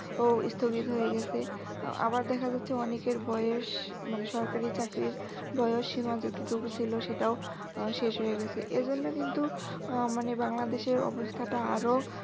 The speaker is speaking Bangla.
ও স্থগিত হয়ে গেছে। আবার দেখা যাচ্ছে অনেকের বয়স মানে সরকারি চাকরির বয়স সীমা যেটুক ছিল সেটাও শেষ হয়ে গেছে। এজন্য কিন্তু মানে বাংলাদেশের অবস্থাটা আরও